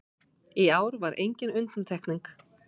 Í ár var engin undantekning